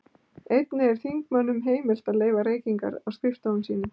Einnig er þingmönnum heimilt að leyfa reykingar á skrifstofum sínum.